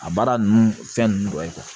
A baara ninnu fɛn ninnu dɔ ye